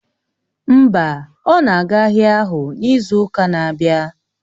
Mba, ọ na-aga ahịa ahụ n'izu ụka na-abịa